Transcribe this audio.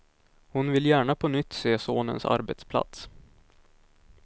Hon vill gärna på nytt se sonens arbetsplats.